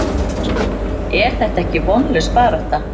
Er þetta ekki vonlaus barátta?